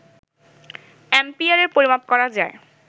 অ্যাম্পিয়ারে পরিমাপ করা যায়